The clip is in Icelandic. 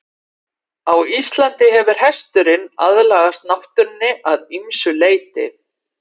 Á Íslandi hefur hesturinn aðlagast náttúrunni að ýmsu leyti.